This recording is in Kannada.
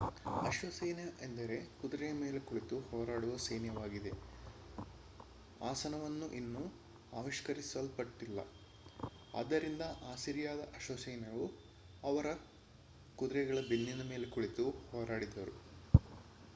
ಅಶ್ವಸೈನ್ಯ ಎಂದರೆ ಕುದುರೆಯ ಮೇಲೆ ಕುಳಿತು ಹೋರಾಡುವ ಸೈನ್ಯವಾಗಿದೆ ಆಸನವನ್ನು ಇನ್ನೂ ಆವಿಷ್ಕರಿಸಲ್ಪಟ್ಟಿಲ್ಲ ಆದ್ದರಿಂದ ಅಸಿರಿಯಾದ ಅಶ್ವಸೈನ್ಯವು ಅವರ ಕುದುರೆಗಳ ಬೆನ್ನಿನ ಮೇಲೆ ಕುಳಿತು ಹೋರಾಡಿದರು